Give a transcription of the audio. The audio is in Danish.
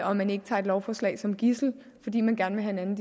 og man ikke tager et lovforslag som gidsel fordi man gerne